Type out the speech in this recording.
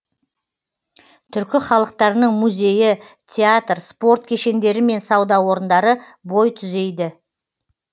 түркі халықтарының музейі театр спорт кешендері мен сауда орындары бой түзейді